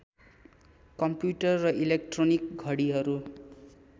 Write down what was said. computer र electronic घडिहरू